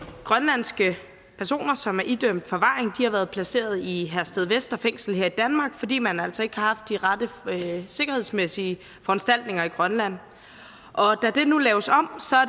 grønlandske personer som er idømt forvaring har været placeret i herstedvester fængsel her i danmark fordi man altså ikke har haft de rette sikkerhedsmæssige foranstaltninger i grønland da det nu laves om